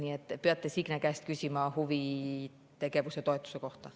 Nii et peate Signe käest küsima huvitegevuse toetuse kohta.